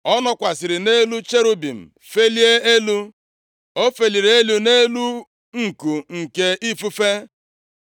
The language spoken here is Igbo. Ọ nọkwasịrị nʼelu cherubim felie elu, O feliri elu nʼelu nku nke ifufe.